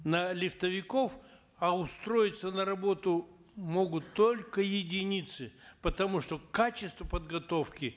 на лифтовиков а устроиться на работу могут только единицы потому что качество подготовки